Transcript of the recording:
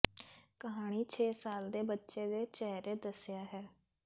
ਕਹਾਣੀ ਛੇ ਸਾਲ ਦੇ ਬੱਚੇ ਦੇ ਚਿਹਰੇ ਦੱਸਿਆ ਹੈ